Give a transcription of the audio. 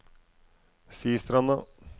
Sistranda